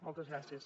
moltes gràcies